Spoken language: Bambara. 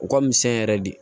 U ka misɛn yɛrɛ de